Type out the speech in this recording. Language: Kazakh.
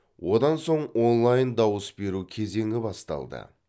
одан соң онлайн дауыс беру кезеңі басталды